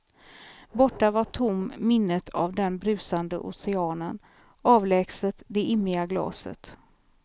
Borta var tom minnet av den brusande oceanen, avlägset det immiga glaset.